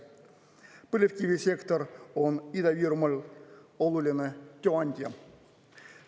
Põlevkivisektor on Ida-Virumaal oluline tööandja.